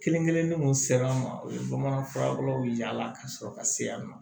Kelen kelenni kun sera an ma o ye bamanan furakolow yaala ka sɔrɔ ka se yan nɔ